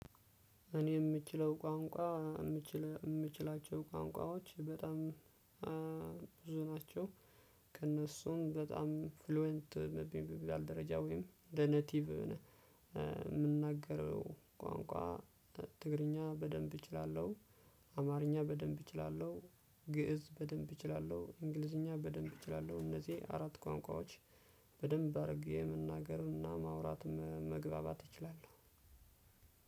እኔ የምችለው ቋንቋ የምችል የምችላቸው ቋንቋዎች በጣም ብዙ ናቸው። ከእነሱም በጣም ፍሉዌንት በሚባል ደረጃ ወይም እንደ ኔቲቭ የምንናገረው ቋንቋ ትግርኛ በደንብ እችላለሁ። አማርኛ በደንብ እችላለሁ። ግእዝ በደንብ እችላለሁ እንግሊዘኛ በደንብ እችላለሁ። እነዚህ አራት ቁአንቁአዎች በደንብ አድርጌ መናገርና ማውራት መግባባት እችላለሁ።